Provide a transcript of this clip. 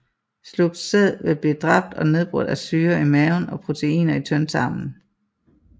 Slugt sæd vil blive dræbt og nedbrudt af syrer i maven og proteiner i tyndtarmen